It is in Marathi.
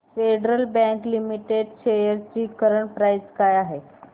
फेडरल बँक लिमिटेड शेअर्स ची करंट प्राइस काय आहे